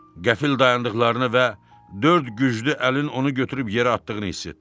Qəfil dayandıqlarını və dörd güclü əlin onu götürüb yerə atdığını hiss etdi.